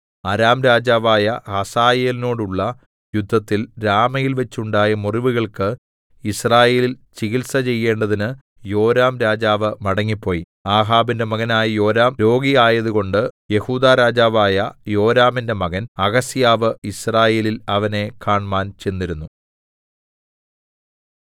അരാം രാജാവായ ഹസായേലിനോടുള്ള യുദ്ധത്തിൽ രാമയിൽവെച്ച് ഉണ്ടായ മുറിവുകൾക്ക് യിസ്രയേലിൽ ചികിത്സചെയ്യേണ്ടതിന് യോരാംരാജാവ് മടങ്ങിപ്പോയി ആഹാബിന്റെ മകനായ യോരാം രോഗിയായതുകൊണ്ട് കൊണ്ട് യെഹൂദാ രാജാവായ യെഹോരാമിന്റെ മകൻ അഹസ്യാവ് യിസ്രയേലിൽ അവനെ കാണ്മാൻ ചെന്നിരുന്നു